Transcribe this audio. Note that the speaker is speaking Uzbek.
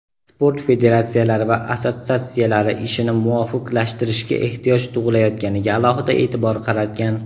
sport federatsiyalari va assotsiatsiyalari ishini muvofiqlashtirishga ehtiyoj tug‘ilayotganiga alohida e’tibor qaratgan.